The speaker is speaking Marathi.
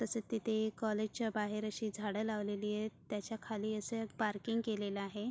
तसेच तिथे एक काॅलेज च्या बाहेर अशी झाडे लावलेलीत त्याच्या खाली असे एक पार्किंग केलेल आहे.